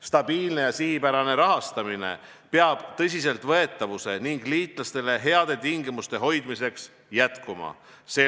Stabiilne ja sihipärane rahastamine peab tõsiseltvõetavuse ning liitlastele heade tingimuste hoidmiseks jätkuma.